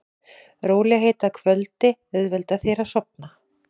Rólegheit að kvöldi auðvelda þér að sofna.